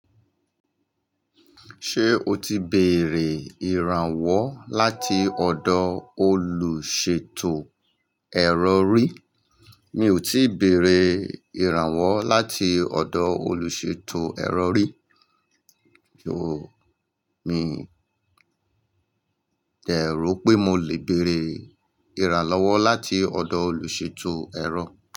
Ṣé o ti béèrè ìrànwọ́ láti ọ̀dọ̀ olùṣètò ẹ̀rọ rí? Mi ò tíì béèrè ìrànwọ́ láti ọ̀dọ̀ olùṣètò ẹ̀rọ rí. Kíni mi dẹ̀ rò pé mo lè béèrè ìrànlọ́wọ́ láti ọ̀dọ̀ olùṣètò ẹ̀rọ.